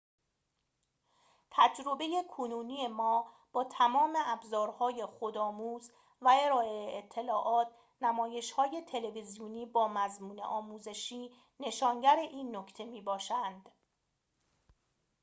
تجربه کنونی ما با تمام ابزارهای خودآموز و ارائه اطلاعات نمایش‌های تلویزیونی با مضمون آموزشی نشانگر این نکته می‌باشند